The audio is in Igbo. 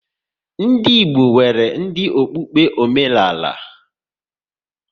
Ndị Igbo nwere dị okpukpe omenala